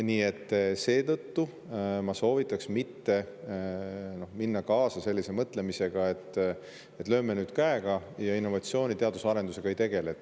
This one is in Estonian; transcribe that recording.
Nii et seetõttu ma soovitaks mitte minna kaasa sellise mõtlemisega, et lööme nüüd käega ja innovatsiooniga, teadus‑ ja arendustegevusega ei tegele.